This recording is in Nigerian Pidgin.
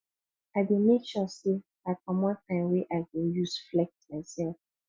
i dey make sure sey i comot time wey i go use flex mysef